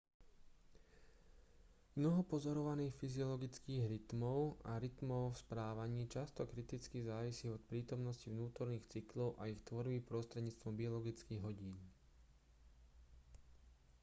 mnoho pozorovaných fyziologických rytmov a rytmov v správaní často kriticky závisí od prítomnosti vnútorných cyklov a ich tvorby prostredníctvom biologických hodín